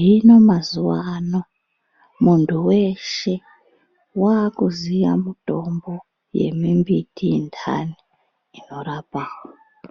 hino mazuvano muntu weshe wakuziya mutombo yemimbiti ndani inorapa.